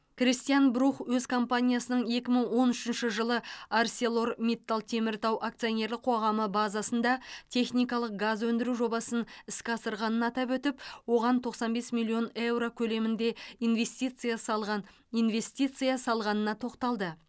кристиан брух өз компаниясының екі мың он үшінші жылы арселор миттал теміртау акционерлік қоғамы базасында техникалық газ өндіру жобасын іске асырғанын атап өтіп оған тоқсан бес миллион еуро көлемінде инвестиция салған инвестиция салғанына тоқталды